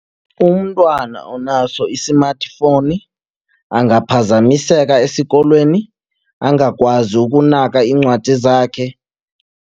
Umntwana onaso i-smartphone angaphazamiseka esikolweni angakwazi ukunaka iincwadi zakhe.